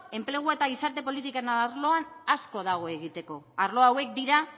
enplegua eta gizarte politiken arloan asko dago egiteko arlo hauek dira